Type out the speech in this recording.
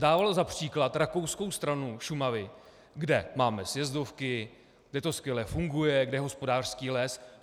Dával za příklad rakouskou stranu Šumavy, kde máme sjezdovky, kde to skvěle funguje, kde je hospodářský les.